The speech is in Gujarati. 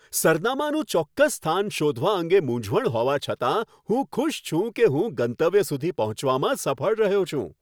સરનામાનું ચોક્કસ સ્થાન શોધવા અંગે મૂંઝવણ હોવા છતાં, હું ખુશ છું કે હું ગંતવ્ય સુધી પહોંચવામાં સફળ રહ્યો છું.